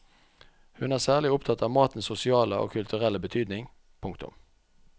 Hun er særlig opptatt av matens sosiale og kulturelle betydning. punktum